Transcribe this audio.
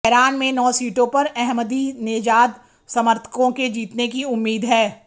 Tehran में नौ सीटों पर अहमदीनेजाद समर्थकों के जीतने की उम्मीद है